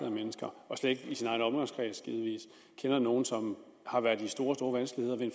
af mennesker og slet ikke i sin egen omgangskreds kender nogen som har været i store store vanskeligheder ved